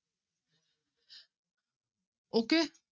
Okay